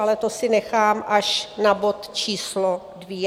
Ale to si nechám až na bod číslo dvě.